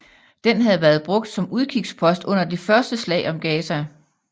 Den havde været brugt som udkigspost under det første slag om Gaza